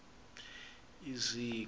iziko